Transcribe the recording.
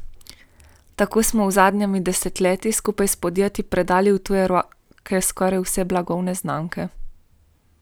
Tako smo v zadnjem desetletju skupaj s podjetji predali v tuje roke skoraj vse blagovne znamke.